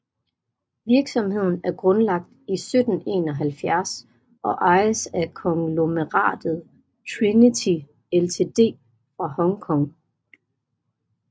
Virksomheden er grundlagt i 1771 og ejes af konglomeratet Trinity Ltd fra Hong Kong